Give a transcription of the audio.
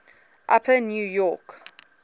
upper new york